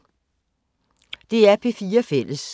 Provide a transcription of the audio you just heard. DR P4 Fælles